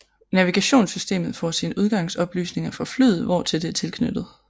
Navigationssystemet får sine udgangsoplysninger fra flyet hvortil det er tilknyttet